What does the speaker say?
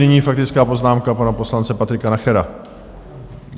Nyní faktická poznámka pana poslance Patrika Nachera.